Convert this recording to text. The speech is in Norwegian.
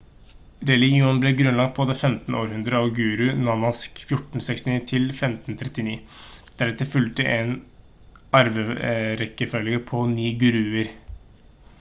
religionen ble grunnlagt på det 15. århundre av guru nanak 1469 til 1539. deretter fulgte en arverekkefølge på 9 guruer